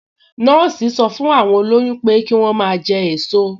Nọ́ọ̀sì sọ fún àwọn olóyún pé kí wọ́n máa jẹ èso